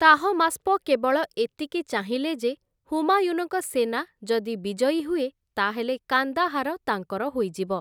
Tahmasp କେବଳ ଏତିକି ଚାହିଁଲେ ଯେ ହୁମାୟୁନଙ୍କ ସେନା ଯଦି ବିଜୟୀ ହୁଏ, ତା'ହେଲେ କାନ୍ଦାହାର ତାଙ୍କର ହୋଇଯିବ ।